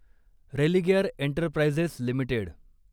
Religare Enterprises limited